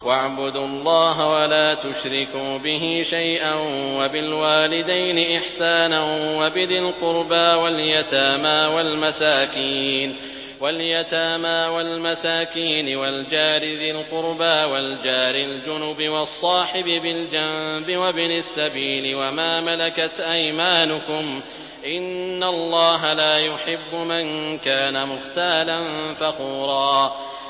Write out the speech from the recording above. ۞ وَاعْبُدُوا اللَّهَ وَلَا تُشْرِكُوا بِهِ شَيْئًا ۖ وَبِالْوَالِدَيْنِ إِحْسَانًا وَبِذِي الْقُرْبَىٰ وَالْيَتَامَىٰ وَالْمَسَاكِينِ وَالْجَارِ ذِي الْقُرْبَىٰ وَالْجَارِ الْجُنُبِ وَالصَّاحِبِ بِالْجَنبِ وَابْنِ السَّبِيلِ وَمَا مَلَكَتْ أَيْمَانُكُمْ ۗ إِنَّ اللَّهَ لَا يُحِبُّ مَن كَانَ مُخْتَالًا فَخُورًا